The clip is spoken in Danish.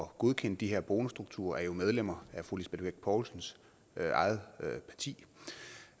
godkende de her bonusstrukturer er jo medlemmer af fru lisbeth bech poulsens eget parti